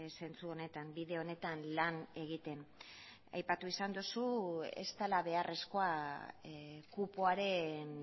zentzu honetan bide honetan lan egiten aipatu izan duzu ez dela beharrezkoa kupoaren